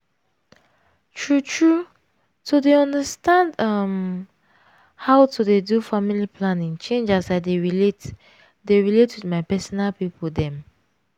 true tteue to dey understand uhmmm how to dey do family planning change as i dey relate dey relate with my personal pipo dem.